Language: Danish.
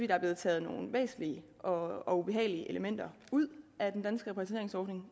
er blevet taget nogle væsentlige og og ubehagelige elementer ud af den danske repatrieringsordning